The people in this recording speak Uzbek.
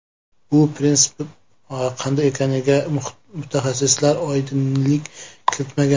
Bu prinsip qanday ekaniga mutaxassis oydinlik kiritmagan.